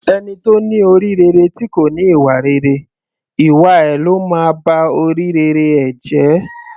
Ẹni tó ní orí rere tí kò ní ìwà rere, ìwà ẹ ló máa ba orí rere ẹ̀ jẹ́.